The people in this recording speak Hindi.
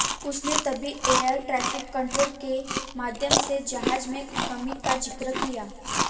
उसने तभी एयर ट्रेफिक कंट्रोल के माध्यम से जहाज में कमी का जिक्र किया